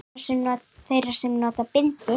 Þeirra sem nota bindi?